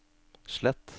slett